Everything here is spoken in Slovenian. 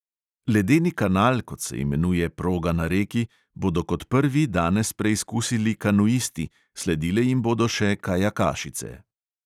Ledeni kanal, kot se imenuje proga na reki, bodo kot prvi danes preizkusili kanuisti, sledile jim bodo še kajakašice.